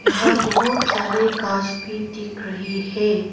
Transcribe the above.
यहां बहुत सारे कार्स भी दिख रही है।